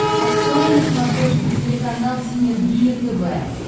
открой на смотрешке телеканал синергия тв